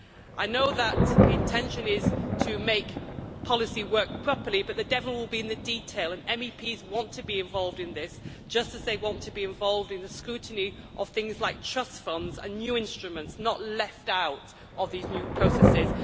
I know that the intention is to make policy work properly, but the devil will be in the detail, and MEPs want to be involved in this, just as they want to be involved in the scrutiny of things like trust funds and new instruments, and not to be left out of these new processes.